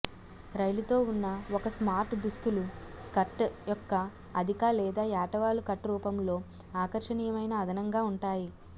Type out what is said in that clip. రైలుతో ఉన్న ఒక స్మార్ట్ దుస్తులు స్కర్ట్ యొక్క అధిక లేదా ఏటవాలు కట్ రూపంలో ఆకర్షణీయమైన అదనంగా ఉంటాయి